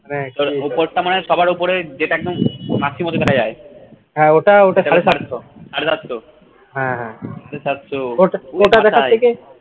উপরটা মানে সবার উপরে যেটা একদম দেখা যায় সাড়ে সাতশ